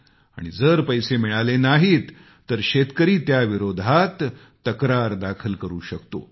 आणि जर पैसे मिळाले नाहीत तर शेतकरी त्याविरोधात तक्रार दाखल करु शकतो